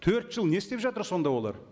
төрт жыл не істеп жатыр сонда олар